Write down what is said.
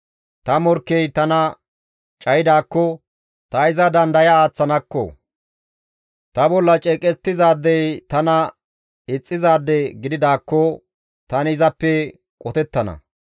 Ta morkkey tana cayidaakko ta iza dandaya aaththanakko, ta bolla ceeqettizay tana ixxizaade gididaakko tani izappe qotettana.